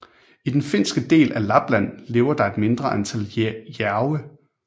I den finske del af Lapland lever der et mindre antal jærve